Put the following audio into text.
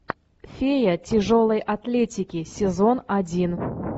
фея тяжелой атлетики сезон один